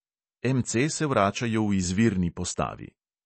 MC se vračajo v izvirni postavi.